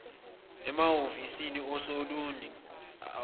emahhovisi asolundi wayevame